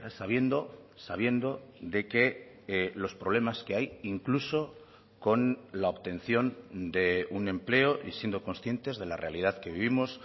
sabiendo sabiendo de que los problemas que hay incluso con la obtención de un empleo y siendo conscientes de la realidad que vivimos